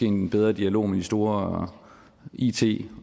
en bedre dialog med de store it